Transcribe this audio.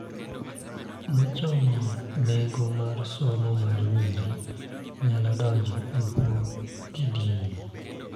Mochomo nengo mar somo mar nyiri nyalo donjo e bwo kidienyni.